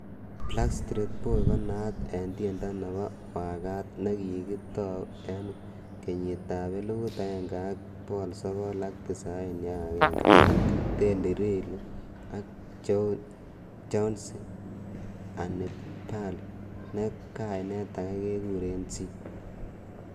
Backstreet Boy konaat en tiendenyon nebo waakat, nekikitou en kenyitab 1991 ak Teddy Riley ak Chauncey Hannibal neen kainet age kekuren C.